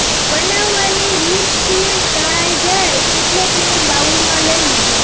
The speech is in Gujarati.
બનાવવાની રીતછીણ તળાઈ જાય એટલે તેને બાઉલમાં લઈ લો